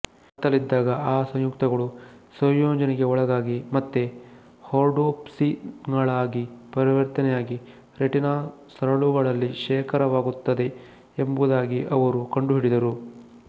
ಕತ್ತಲಿದ್ದಾಗ ಆ ಸಂಯುಕ್ತಗಳು ಸಂಯೋಜನೆಗೆ ಒಳಗಾಗಿ ಮತ್ತೆ ರ್ಹೋಡೋಪ್ಸಿನ್ಗಳಾಗಿ ಪರಿವರ್ತನೆಯಾಗಿ ರೆಟಿನಾ ಸರಳುಗಳಲ್ಲಿ ಶೇಖರವಾಗುತ್ತದೆ ಎಂಬುದಾಗಿ ಅವರು ಕಂಡುಹಿಡಿದರು